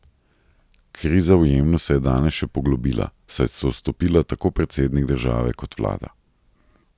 Kriza v Jemnu se je danes še poglobila, saj sta odstopila tako predsednik države kot vlada.